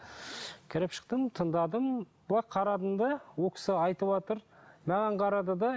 кіріп шықтым тыңдадым былай қарадым да ол кісі айтыватыр маған қарады да